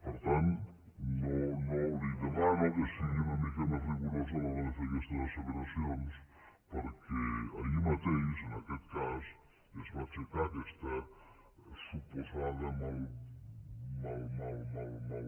per tant li demano que sigui una mica més rigorosa a l’hora de fer aquestes asseveracions perquè ahir mateix en aquest cas es va aixecar aquesta suposada mal mal